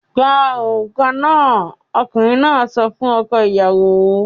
"Gba òrùka náà!" Ọkùnrin náà sọ fún ọkọ-ìyàwó.